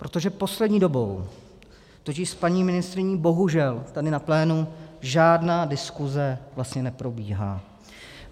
Protože poslední dobou totiž s paní ministryní bohužel tady na plénu žádná diskuse vlastně neprobíhá.